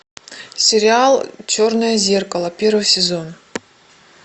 сериал черное зеркало первый сезон